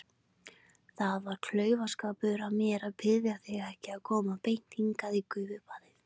Það var klaufaskapur af mér að biðja þig ekki að koma beint hingað í gufubaðið.